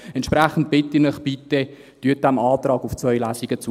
Entsprechend bitte ich Sie: Bitte stimmen Sie dem Antrag auf zwei Lesungen zu.